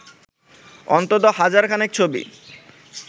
অন্তত হাজার খানেক ছবি